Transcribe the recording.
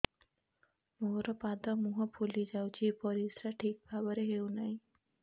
ମୋର ପାଦ ମୁହଁ ଫୁଲି ଯାଉଛି ପରିସ୍ରା ଠିକ୍ ଭାବରେ ହେଉନାହିଁ